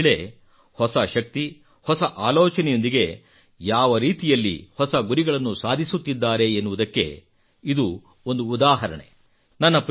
ಇಂದಿನ ಮಹಿಳೆ ಹೊಸ ಶಕ್ತಿ ಹೊಸ ಆಲೋಚನೆಯೊಂದಿಗೆ ಯಾವ ರೀತಿಯಲ್ಲಿ ಹೊಸ ಗುರಿಗಳನ್ನು ಸಾಧಿಸುತ್ತಿದ್ದಾರೆ ಎನ್ನುವುದಕ್ಕೆ ಇದು ಒಂದು ಉದಾಹರಣೆ